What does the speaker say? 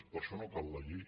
per a això no cal la llei